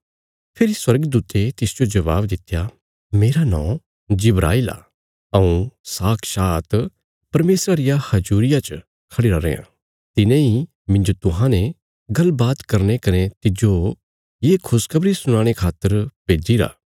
फेरी स्वर्गदूते तिसजो जबाब दित्या मेरा नौं जिब्राईल आ हऊँ साक्षात परमेशरा रिया हजूरिया च खढ़िरा रेआं तिने इ मिन्जो तुन्हांने गल्ल बात करने कने तिज्जो ये खुशखबरी सुनाणे खातर भेजीरा